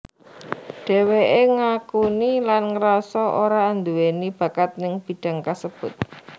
Dheweké ngakuni lan ngerasa ora anduweni bakat ning bidang kasebut